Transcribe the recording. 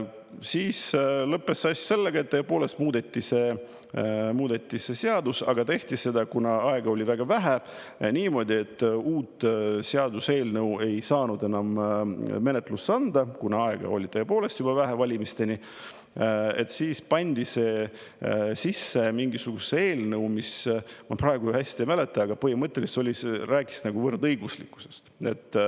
Asi lõppes sellega, et tõepoolest muudeti seda seadust, aga tehti seda, kuna aega oli väga vähe, niimoodi, et uut seaduseelnõu ei saanud enam menetlusse anda, kuna aega oli tõepoolest vähe valimisteni, siis pandi see sisse mingisugusesse eelnõusse, mis, ma praegu hästi, ei mäleta, aga põhimõtteliselt rääkis võrdõiguslikkusest.